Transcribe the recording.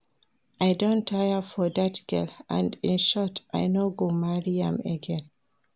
I don tire for dat girl and in short I no go marry am again